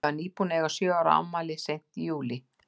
Ég var nýbúin að eiga sjö ára afmælið, seint í júlí.